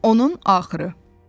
Onun axırı.